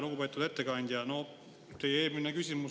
Lugupeetud ettekandja!